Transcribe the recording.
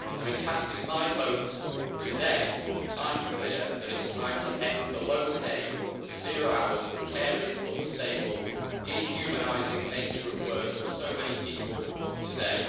So in casting my vote today, I am clear that it is time to end the low pay, zero hours, precarious, unstable, dehumanising nature of work for so many people today.